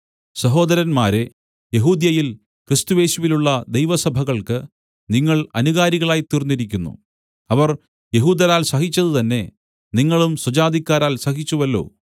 സഹോദരന്മാരേ യെഹൂദ്യയിൽ ക്രിസ്തുയേശുവിലുള്ള ദൈവസഭകൾക്ക് നിങ്ങൾ അനുകാരികളായിത്തീർന്നിരിക്കുന്നു അവർ യെഹൂദരാൽ സഹിച്ചത് തന്നേ നിങ്ങളും സ്വജാതിക്കാരാൽ സഹിച്ചുവല്ലോ